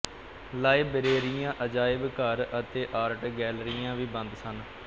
ਲਾਇਬ੍ਰੇਰੀਆਂ ਅਜਾਇਬ ਘਰ ਅਤੇ ਆਰਟ ਗੈਲਰੀਆਂ ਵੀ ਬੰਦ ਸਨ